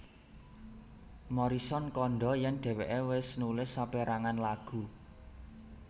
Morrison kandha yen dheweke wis nulis saperangan lagu